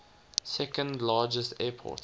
second largest airport